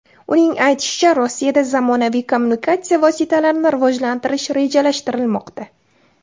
Uning aytishicha, Rossiyada zamonaviy kommunikatsiya vositalarini rivojlantirish rejalashtirilmoqda.